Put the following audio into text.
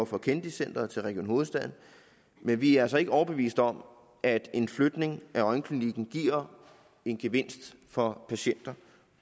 fra kennedy centret til region hovedstaden men vi er altså ikke overbevist om at en flytning af øjenklinikken giver en gevinst for patienter